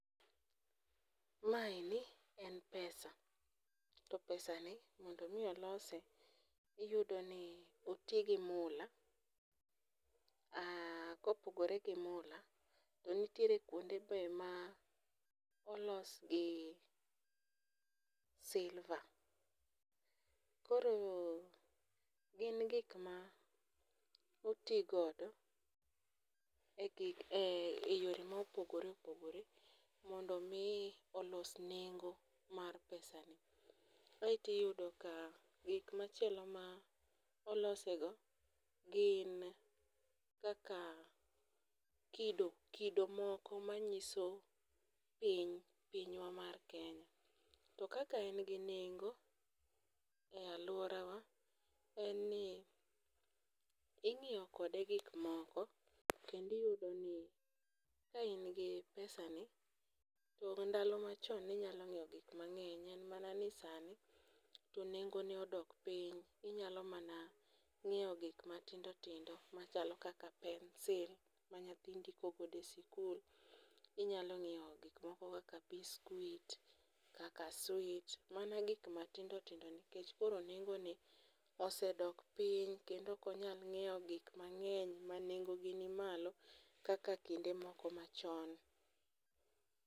Ma eni, en pesa. To pesa ni, mondo mi olose, iyudo ni oti gi mula, kopogore gi mula, to nitiere kuonde be ma olos gi silver. Koro, gin gik ma oti godo e yore ma opogoreopogore mondo mi olos nengo mar pesani. Kaito iyudo ka, gik machielo ma olosego gin kaka kido moko manyiso piny, pinywa mar Kenya. To kaka en gi nengo e alworawa, en ni inyiewo kode gik moko, kendo iyudo ni, ka in gi pesa ni , to ndalo machon ne inyalo ng'iewo gik mang'eny en mana ni sani, to nengo ne odok piny inyalo mana ng'iewo gik matindotndo machalo kaka pencil, ma nyathi ndikogodo e sikul, inyalo ng'iewo gik moko kaka biskuit , kaka sweet, mana gik matindotindo nikech koro nengone osedok piny kendo ok onyal ng'iewo gik mang'eny ma nengogi ni malo kaka, kaka kinde machon.